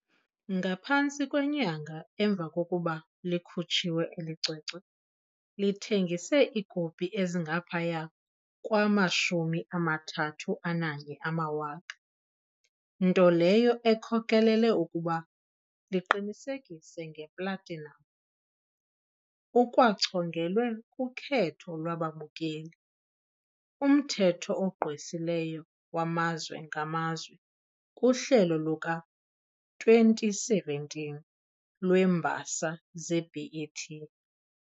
Ngaphantsi kwenyanga emva kokuba likhutshiwe, eli cwecwe lithengise iikopi ezingaphaya kwama-31,000, nto leyo ekhokelele ukuba liqinisekise ngeplatinam. Ukwachongelwe kuKhetho lwababukeli- Umthetho ogqwesileyo waMazwe ngaMazwe kuhlelo luka-2017 lweeMbasa zeBET .